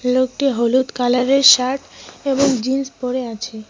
লোকটি হলুদ কালারের শার্ট এবং জিন্স পরে আছে।